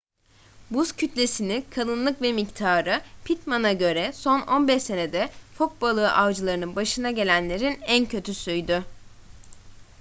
buz kütlesini kalınlık ve miktarı pittman'a göre son 15 senede fok balığı avcılarının başına gelenlerin en kötüsüydü